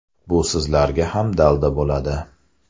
Bu sizlarga ham dalda bo‘ladi.